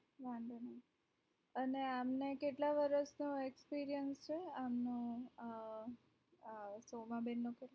વાધો નહિ અને આમને કેટલા વર્ષનો experience છે આમનો સોમાંબેન નો